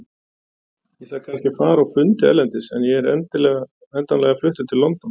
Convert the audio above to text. Ég þarf kannski að fara á fundi erlendis en ég er endanlega fluttur til London.